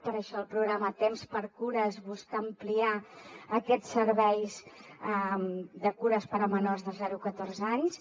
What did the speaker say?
per això el programa tempsxcures busca ampliar aquests serveis de cures per a menors de zero a catorze anys